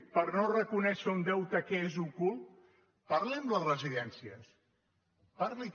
per no reconèixer un deute que és ocult parli amb les resi·dències parli·ho